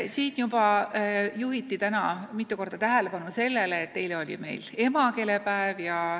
Siin juhiti täna juba mitu korda tähelepanu sellele, et eile oli meil emakeelepäev.